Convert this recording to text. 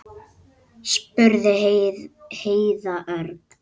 spurði Heiða örg.